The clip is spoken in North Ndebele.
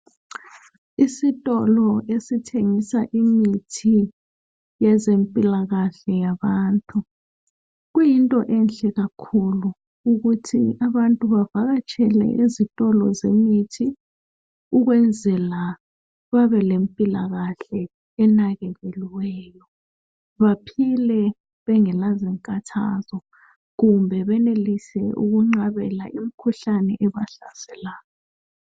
Isitolo esithengisa imithi yezempilakahle yabantu, kuyinto enhle kakhulu ukuthi abantu bavakatshele ezitolo zemithi. Ukwenzela babelempilakahle enakekelweyo baphile bengelazinkathazo kumbe benelise ukunqabela imikhuhlane ebahlaselayo.